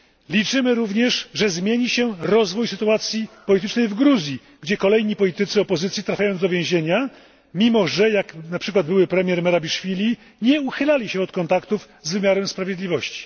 Liczymy również, że zmieni się rozwój sytuacji politycznej w Gruzji, gdzie kolejni politycy opozycji trafiają do więzienia, mimo że jak na przykład były premier Merabiszwili nie uchylali się od kontaktów z wymiarem sprawiedliwości.